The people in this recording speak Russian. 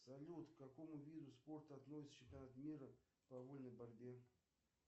салют к какому виду спорта относится чемпионат мира по вольной борьбе